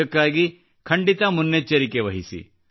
ಇದಕ್ಕಾಗಿ ಖಂಡಿತ ಮುನ್ನೆಚ್ಚರಿಕೆ ವಹಿಸಿ